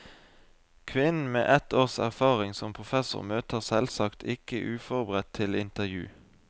Kvinnen med ett års erfaring som professor møter selvsagt ikke uforberedt til intervju.